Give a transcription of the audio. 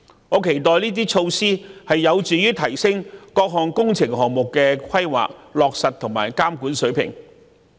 我期待這些措施能有助提升各項工程項目的規劃、落實和監管水平。